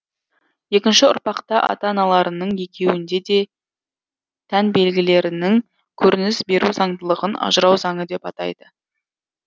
екінші ұрпақта ата аналарының екеуіне де тән белгілердің көрініс беру заңдылығын ажырау заңы деп атайды